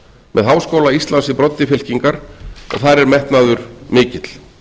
með háskóla íslands í broddi fylkingar og þar er metnaður mikill